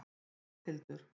Matthildur